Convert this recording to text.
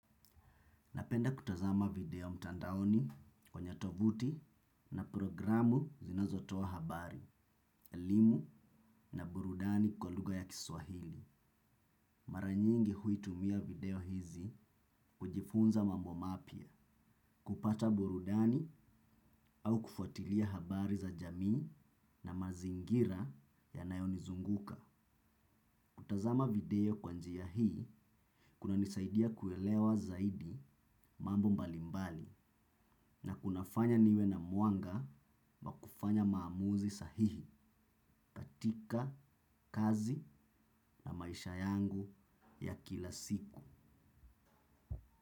Napenda kutazama video mtandaoni kwenye tovuti na programu zinazotoa habari, elimu na burudani kwa lugha ya kiswahili. Mara nyingi huitumia video hizi kujifunza mambo mapya kupata burudani au kufuatilia habari za jamii na mazingira yanayonizunguka. Kutazama video kwa njia hii, kunanisaidia kuelewa zaidi mambo mbalimbali na kunafanya niwe na mwanga ma kufanya maamuzi sahihi, katika, kazi na maisha yangu ya kila siku.